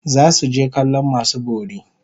Zasu je kallon masu bori